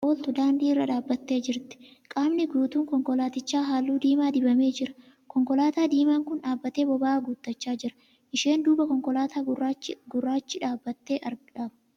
Konkolaataan fe'umsa namaaf ooltu daandii irra dhaabbattee jirti. Qaamni guutuun konkolaatichaa halluu diimaa dibamee jira. Konkolaataa diimaan kun dhaabbattee boba'aa guuttachaa jira . Isheen duuba konkolaataa gurraachi dhaabbatee argama .